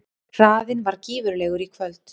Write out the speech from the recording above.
Hraðinn var gífurlegur í kvöld